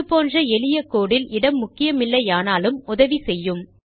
இது போன்ற எளிய கோடு இல் இடம் முக்கியமில்லையானாலும் உதவி செய்யும்